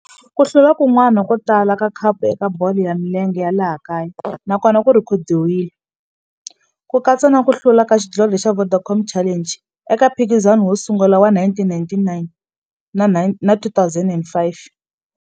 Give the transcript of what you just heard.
Ku hlula kun'wana ko tala ka khapu eka bolo ya milenge ya laha kaya na kona ku rhekhodiwile, ku katsa na ku hlula ka xidlodlo xa Vodacom Challenge eka mphikizano wo sungula wa 1999 na 2005.